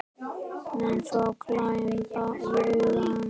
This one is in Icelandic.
Menn fá glampa í augun.